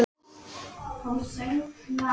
Hún hefur allt.